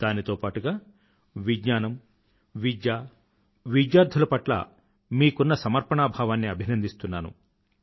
దానితో పాటూగా విజ్ఞానం విద్య విద్యార్థుల పట్ల మీకున్న సమర్పణాభావాన్ని అభినందిస్తున్నాను